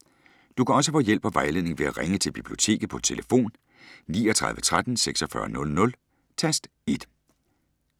Du kan også få hjælp og vejledning ved at ringe til Biblioteket på tlf. 39 13 46 00, tast 1.